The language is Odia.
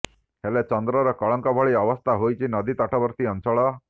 ହେଲେ ଚନ୍ଦ୍ରର କଳଙ୍କ ଭଳି ଅବସ୍ଥା ହୋଇଛି ନଦୀ ତଟବର୍ତ୍ତୀ ଅଞ୍ଚଳ